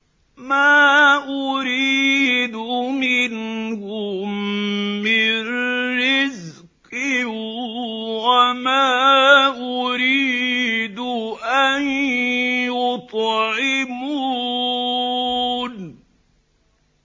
مَا أُرِيدُ مِنْهُم مِّن رِّزْقٍ وَمَا أُرِيدُ أَن يُطْعِمُونِ